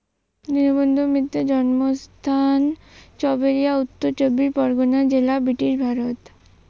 দীনবন্ধু মিত্রের জন্মস্থান সবেরিয়া উত্তর চব্বিশ পরগণা জেলায় বৃটিশ ভারত।